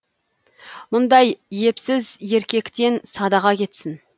мұндай епсіз еркектен садаға кетсін